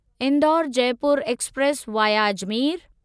Indore Jaipur express via Ajmer